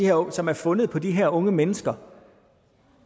våben som var fundet på de her unge mennesker